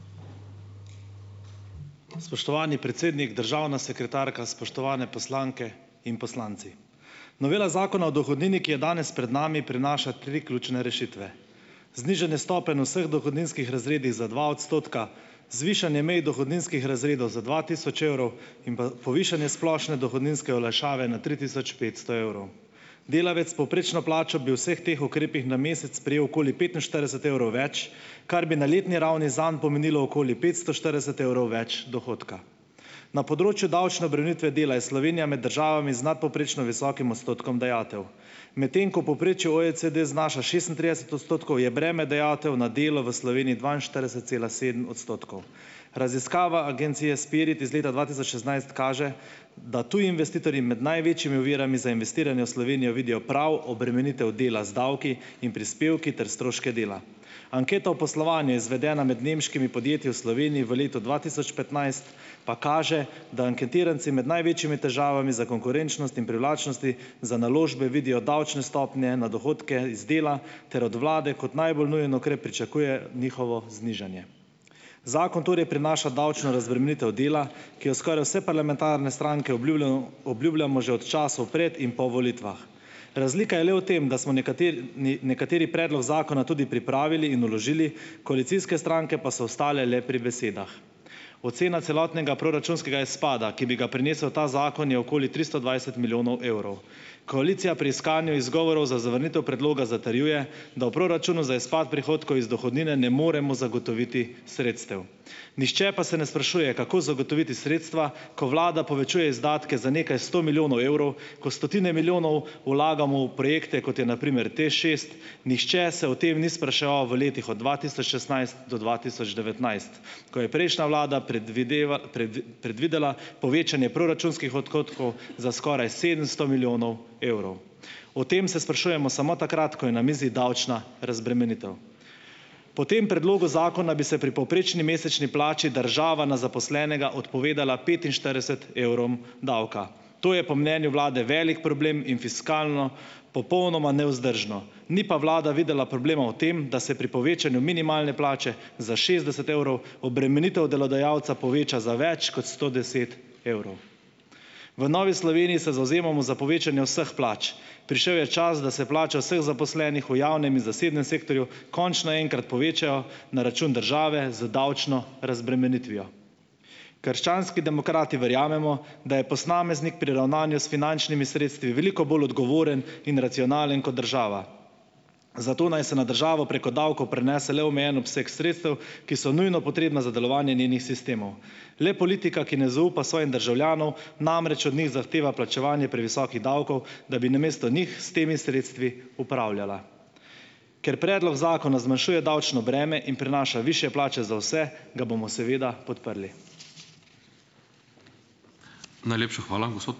Spoštovani predsednik, državna sekretarka, spoštovane poslanke in poslanci! Novela Zakona o dohodnini, ki je danes pred nami, prinaša tri ključne rešitve znižanje stopenj v vseh dohodninskih razredih za dva odstotka, zvišanje mej dohodninskih razredov za dva tisoč evrov in pa povišanje splošne dohodninske olajšave na tri tisoč petsto evrov. Delavec s povprečno plačo bi v vseh teh ukrepih na mesec prejel okoli petinštirideset evrov več, kar bi na letni ravni zanj pomenilo okoli petsto štirideset evrov več dohodka. Na področju davčne obremenitve dela je Slovenija med državami z nadpovprečno visokim odstotkom dajatev, medtem ko v povprečju OECD znaša šestintrideset odstotkov, je breme dajatev na delo v Sloveniji dvainštirideset cela sedem odstotkov. Raziskava Agencije Spirit iz leta dva tisoč šestnajst kaže, da tudi investitorji med največjimi ovirami za investiranje v Slovenijo vidijo prav obremenitev dela z davki in prispevki ter stroške dela. Anketa o poslovanju, izvedena med nemškimi podjetji v Sloveniji v letu dva tisoč petnajst, pa kaže, da anketiranci med največjimi težavami za konkurenčnost in privlačnosti za naložbe vidijo davčne stopnje na dohodke iz dela ter od vlade kot najbolj nujen ukrep pričakuje njihovo znižanje. Zakon torej prinaša davčno razbremenitev dela, ki jo skoraj vse parlamentarne stranke obljubljamo že od časov pred in po volitvah. Razlika je le v tem, da smo nekateri predlog zakona tudi pripravili in vložili, koalicijske stranke pa so ostale le pri besedah. Ocena celotnega proračunskega izpada, ki bi ga prinesel ta zakon, je okoli tristo dvajset milijonov evrov. Koalicija pri iskanju izgovorov za zavrnitev predloga zatrjuje, da v proračunu za izpad prihodkov iz dohodnine ne moremo zagotoviti sredstev. Nihče pa se ne sprašuje, kako zagotoviti sredstva, ko vlada povečuje izdatke za nekaj sto milijonov evrov, ko stotine milijonov vlagamo v projekte, kot je na primer TEŠšest, nihče se o tem ni spraševal v letih od dva tisoč šestnajst do dva tisoč devetnajst, ko je prejšnja vlada predvidela povečanje proračunskih odhodkov za skoraj sedemsto milijonov evrov. O tem se sprašujemo samo takrat, ko je na mizi davčna razbremenitev. Po tem predlogu zakona bi se pri povprečni mesečni plači država na zaposlenega odpovedala petinštirideset evrom davka. To je po mnenju vlade velik problem in fiskalno popolnoma nevzdržno, ni pa vlada videla problema v tem, da se pri povečanju minimalne plače, za šestdeset evrov obremenitev delodajalca poveča za več kot sto deset evrov. V Novi Sloveniji se zavzemamo za povečanje vseh plač. Prišel je čas, da se plača vseh zaposlenih v javnem in zasebnem sektorju končno enkrat povečajo na račun države z davčno razbremenitvijo. Krščanski demokrati verjamemo, da je posameznik pri ravnanju s finančnimi sredstvi veliko bolj odgovoren in racionalen kot država, zato naj se na državo preko davkov prenese le omejen obseg sredstev, ki so nujno potrebna za delovanje njenih sistemov. Le politika, ki ne zaupa svojim državljanov namreč od njih zahteva plačevanje previsokih davkov, da bi namesto njih s temi sredstvi upravljala. Ker predlog zakona zmanjšuje davčno breme in prinaša višje plače za vse, ga bomo seveda podprli.